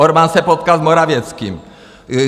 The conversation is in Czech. Orbán se potkal s Morawieckim.